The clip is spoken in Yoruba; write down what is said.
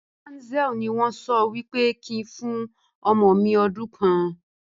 Banzel ni wọn sọ wípé kin fún ọmọ mi ọdún kan